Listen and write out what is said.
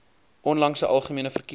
onlangse algemene verkiesing